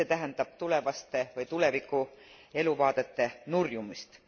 See tähendab tulevaste või tuleviku eluvaadete nurjumist.